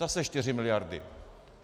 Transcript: Zase 4 miliardy.